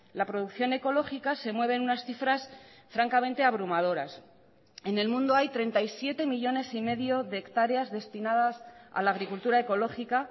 la producción ecológica se mueve en unas cifras francamente abrumadoras en el mundo hay treinta y siete millónes y medio de hectáreas destinadas a la agricultura ecológica